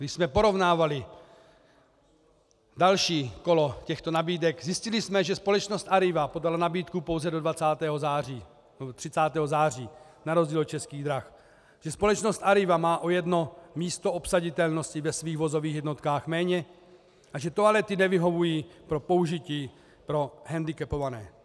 Když jsme porovnávali další kolo těchto nabídek, zjistili jsme, že společnost Arriva podala nabídku pouze do 20. září nebo 30. září - na rozdíl od Českých drah, že společnost Arriva má o jedno místo obsaditelnosti ve svých vozových jednotkách méně a že toalety nevyhovují pro použití pro hendikepované.